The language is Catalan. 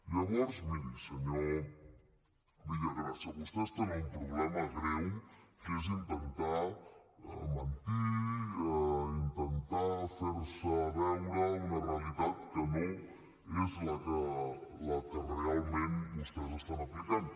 llavors miri senyor villagrasa vostès tenen un problema greu que és intentar mentir intentar fer veure una realitat que no és la que realment vostès estan aplicant